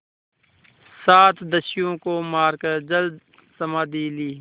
सात दस्युओं को मारकर जलसमाधि ली